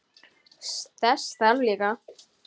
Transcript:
Þess þarf líka.